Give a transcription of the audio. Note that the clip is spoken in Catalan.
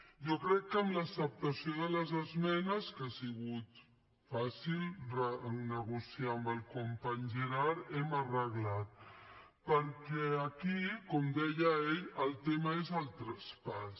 jo crec que amb l’acceptació de les esmenes que ha sigut fàcil negociar amb el company gerard hem arreglat perquè aquí com deia ell el tema és el traspàs